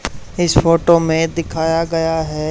इस फोटो में दिखाया गया है।